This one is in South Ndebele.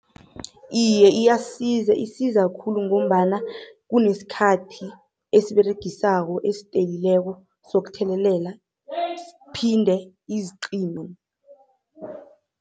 Iye, iyasiza isiza khulu ngombana kuneskhathi esiseberegisako esistelileko sokuthelelela siphinde siziqime.